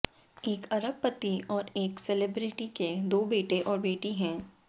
एक अरबपति और एक सेलिब्रिटी के दो बेटे और बेटी हैं